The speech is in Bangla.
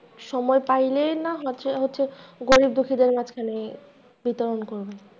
সময় পাইলেই না হচ্ছে, হচ্ছে গরীব দুঃখীদের মাঝখানে বিতরণ করবেন।